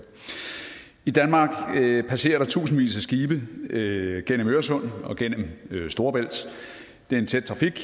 i danmark passerer der tusindvis af skibe gennem øresund og gennem storebælt det er en tæt trafik